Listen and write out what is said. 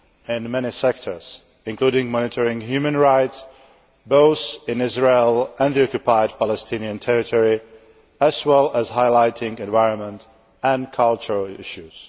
in many sectors, including monitoring human rights, both in Israel and in the Occupied Palestinian Territories, as well as highlighting environmental and cultural issues.